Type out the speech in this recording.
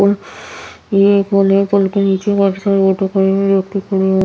पुल ये पुल हैं पुल के नीचे काफी सारे ऑटो खड़े हुए व्यक्ति खड़े हु--